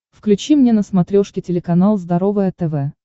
включи мне на смотрешке телеканал здоровое тв